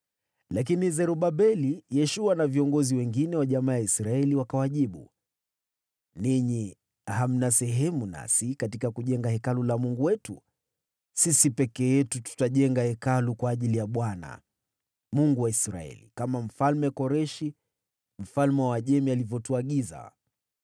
Lakini Zerubabeli, Yeshua na viongozi wengine wa jamaa ya Israeli wakawajibu, “Ninyi hamna sehemu nasi katika kujenga Hekalu la Mungu wetu. Sisi peke yetu tutajenga Hekalu kwa ajili ya Bwana , Mungu wa Israeli, kama Mfalme Koreshi, mfalme wa Uajemi alivyotuagiza.”